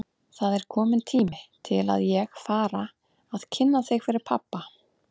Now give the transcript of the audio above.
Það er kominn tími til að ég fara að kynna þig fyrir pabba!